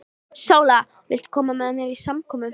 SÓLA: Viltu koma með mér á samkomu?